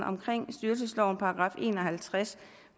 i en og halvtreds